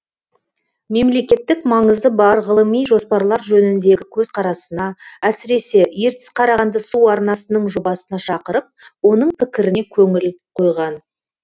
мемлекеттік маңызы бар ғылыми жоспарлар жөніндегі көзқарасына әсіресе ертіс қарағанды су арнасының жобасына шақырып оның пікіріне көңіл қойған